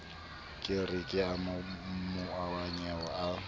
ke re ke maobanyana a